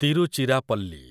Tiruchirappalli